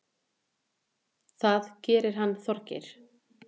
Það gerir hann Þorgeir.